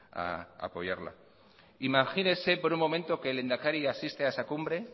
a apoyarla imagínese por un momento que el lehendakari asiste a esa cumbre